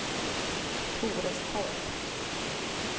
Torestorp